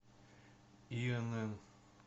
инн